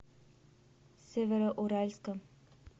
североуральском